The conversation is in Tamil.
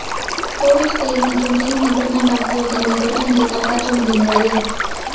டோரி ஸ்பெல்லிங் மற்றும் டீன் மெக்டர்மட் ஆகியோர் தங்கள் திருமணத்தை காப்பாற்ற முடிந்தது